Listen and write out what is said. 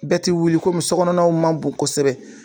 Bɛɛ ti wuli kɔmi sokɔnɔnaw ma bon kosɛbɛ.